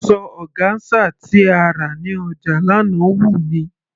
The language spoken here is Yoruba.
Asọ ọgáńsà tí a rí ní ọjà lánàá wù mí.